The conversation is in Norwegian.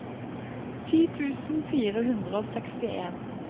ti tusen fire hundre og sekstien